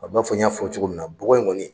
A b'a fɔ n y'a fɔ cogo min na bɔgɔ in kɔni.